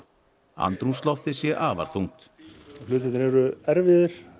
andrúmsloftið sé afar þungt hlutirnir eru erfiðir